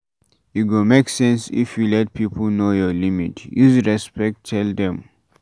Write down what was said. E go make sense if you let pipo know your limit, use respect tell dem